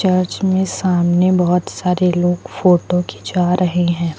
Church में सामने बहोत सारे लोग फोटो खींचा रहे हैं।